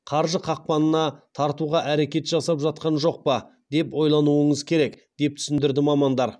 қаржы қақпанына тартуға әрекет жасап жатқан жоқ па деп ойлануыңыз керек деп түсіндірді мамандар